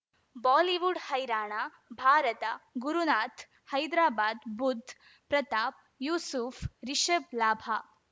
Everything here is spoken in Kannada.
ಬಾಲಿವುಡ್ ಹೈರಾಣ ಭಾರತ ಗುರುನಾಥ್ ಹೈದ್ರಾಬಾದ್ ಬುಧ್ ಪ್ರತಾಪ್ ಯೂಸುಫ್ ರಿಷಬ್ ಲಾಭ